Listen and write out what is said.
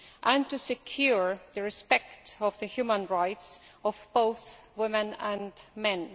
and securing respect for the human rights of both women and men.